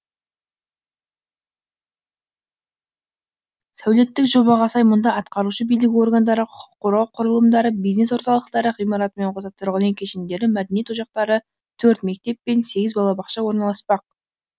сәулеттік жобаға сай мұнда атқарушы билік органдары құқық қорғау құрылымдары бизнес орталықтары ғимаратымен қоса тұрғын үй кешендері мәдениет ошақтары төрт мектеп пен сегіз балабақша орналаспақ